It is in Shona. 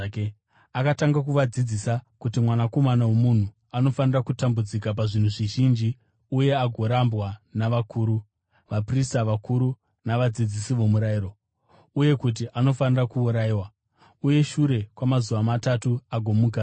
Akatanga kuvadzidzisa kuti Mwanakomana woMunhu anofanira kutambudzika pazvinhu zvizhinji uye agorambwa navakuru, vaprista vakuru navadzidzisi vomurayiro, uye kuti anofanira kuurayiwa, uye shure kwamazuva matatu agomukazve.